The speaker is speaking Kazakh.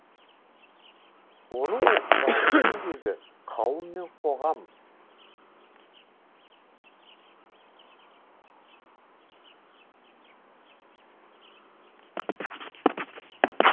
оның басты еңбегі қауым мен қоғам